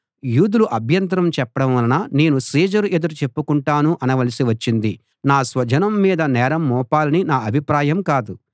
యూదులు అభ్యంతరం చెప్పడం వలన నేను సీజరు ఎదుట చెప్పుకొంటాను అనవలసి వచ్చింది నా స్వజనం మీద నేరం మోపాలని నా అభిప్రాయం కాదు